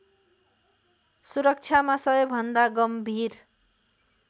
सुरक्षामा सबैभन्दा गम्भीर